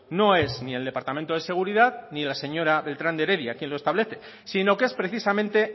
no es ni el departamento de seguridad ni la señora beltrán de heredia quien lo establece sino que es precisamente